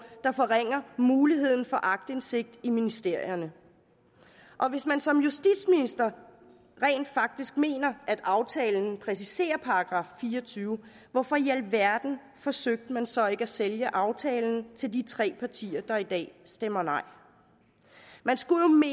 der forringer muligheden for aktindsigt i ministerierne og hvis man som justitsminister rent faktisk mener at aftalen præciserer § fire og tyve hvorfor i alverden forsøgte man så ikke at sælge aftalen til de tre partier der i dag stemmer nej man skulle